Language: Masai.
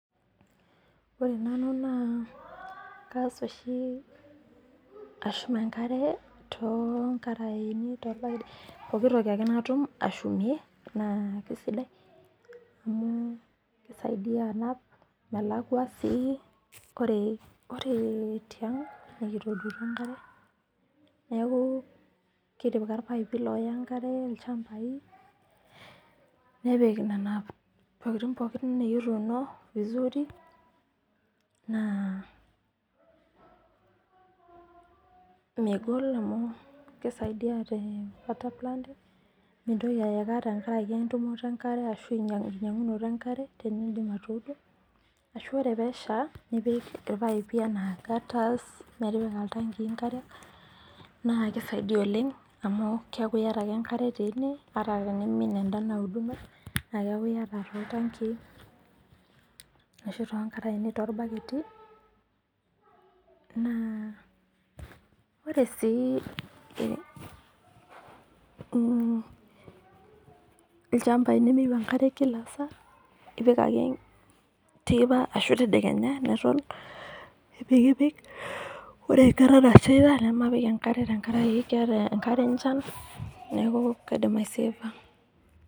Ore nanu naa kaas oshi ashum enkare toonkarani, tolpaipi, pooki toki ake natum ashumie naa keisidai amu keisadia naa amu melakwa sii. Ore tiang' nekitookutuo enkare, neaku kitipika ilpaipi looya enkare ilchambai, nepik nena tokitin pookin nekituuno vizuri, naa megol amu keisaidia amu keisaidia te water planting, mintoki aeka tenkaraki entumoto enkare, enkinyang'unoto enkare tenindim ake duo ashu ore pee esha nipik ilpaipi anaa[ gutters apik iltankii enkare. Keisaidia oleng' amu etaa kiata ake enkare teine, ata tenemee kake etaa iyata too iltankiii, arashu tolkaraini toolbaketi. Ore sii ilchambai nemeyou enkare kia saa, ipik ake teipa ashu tadekenya neton eitu ipik. Ore enkata nashaita nemapik enkare tenkaraki eata enkare enchan neaku keidim aisefa.